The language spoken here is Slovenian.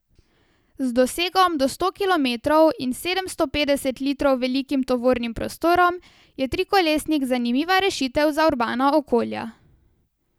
Z dosegom do sto kilometrov in sedemsto petdeset litrov velikim tovornim prostorom, je trikolesnik zanimiva rešitev za urbana okolja.